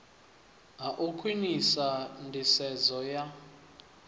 ha u khwinisa nḓisedzo ya